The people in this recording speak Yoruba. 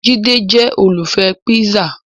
Jide jẹ́ olùfẹ́ píṣà